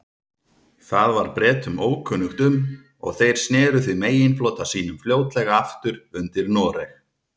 Það var Bretum ókunnugt um, og þeir sneru því meginflota sínum fljótlega aftur undir Noreg.